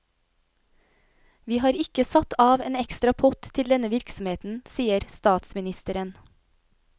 Vi har ikke satt av en ekstra pott til denne virksomheten, sier statsministeren.